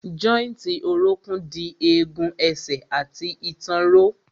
Jọ́ìntì orókún dì egun ẹsẹ̀ àti ìtàn ró.